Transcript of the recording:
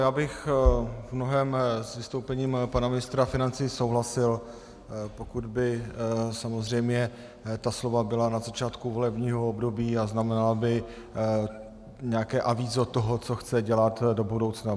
Já bych v mnohém s vystoupením pana ministra financí souhlasil, pokud by samozřejmě ta slova byla na začátku volebního období a znamenala by nějaké avízo toho, co chce dělat do budoucna.